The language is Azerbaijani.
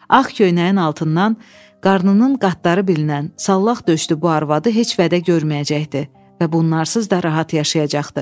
Ağ köynəyin altından qarnının qatları bilinən sallaq döşlü bu arvadı heç vədə görməyəcəkdi və bunlarsız da rahat yaşayacaqdı.